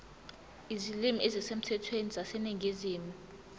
izilimi ezisemthethweni zaseningizimu